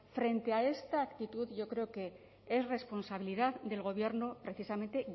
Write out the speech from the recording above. frente a esta actitud yo creo que es responsabilidad del gobierno precisamente